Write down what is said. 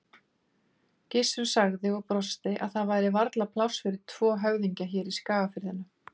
Gissur sagði og brosti að það væri varla pláss fyrir tvo höfðingja hér í Skagafirðinum.